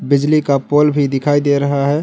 बिजली का पोल भी दिखाई दे रहा है।